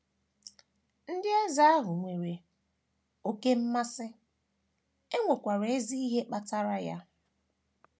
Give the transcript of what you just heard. Ndị ozi ahụ nwere oké mmasị, e nwekwara ezi ihe kpatara ya.